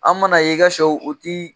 An man'a ye i ka sɛw u tɛ